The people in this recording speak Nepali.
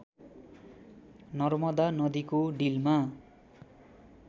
नर्मदा नदीको डिलमा